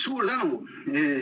Suur tänu!